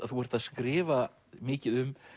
þú ert að skrifa mikið um